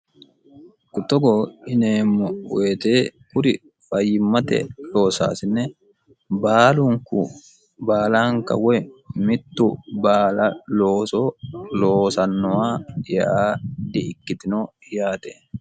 kuttogo ineemmo woyite kuri fayyimmate loosaasine baalunku baalanka woy mittu baala looso loosannowa yaa dhi ikkitino yaate